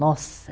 Nossa!